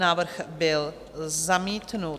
Návrh byl zamítnut.